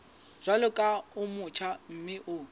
jwalo ka o motjha mme